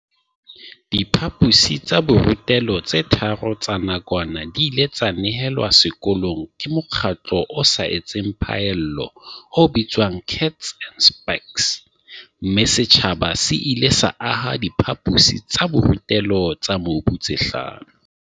Diphaposi tsa borutelo tse tharo tsa nakwana di ile tsa nehelwa sekolong ke mokgatlo o sa etseng phaello o bitswang Kats and Spaks, mme setjhaba se ile sa aha diphaposi tsa borutelo tsa mobu tse hlano.